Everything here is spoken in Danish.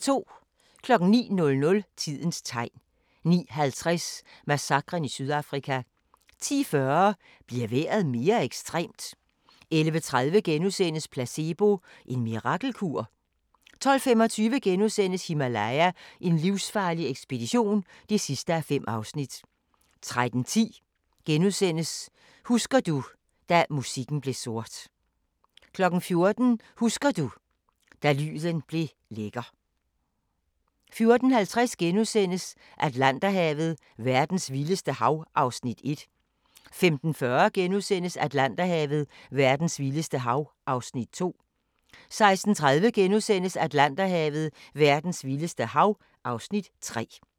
09:00: Tidens Tegn 09:50: Massakren i Sydafrika 10:40: Bliver vejret mere ekstremt? 11:30: Placebo – en mirakelkur? * 12:25: Himalaya: en livsfarlig ekspedition (5:5)* 13:10: Husker du – da musikken blev sort * 14:00: Husker du – da lyden blev lækker 14:50: Atlanterhavet: Verdens vildeste hav (Afs. 1)* 15:40: Atlanterhavet: Verdens vildeste hav (Afs. 2)* 16:30: Atlanterhavet: Verdens vildeste hav (Afs. 3)*